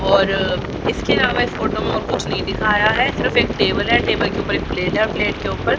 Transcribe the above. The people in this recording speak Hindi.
और इसके अलावा इस फोटो में और कुछ नहीं दिखाया है सिर्फ एक टेबल है टेबल के ऊपर एक प्लेट है प्लेट के ऊपर --